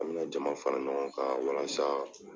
An mina jama fara ɲɔgɔn kan walasa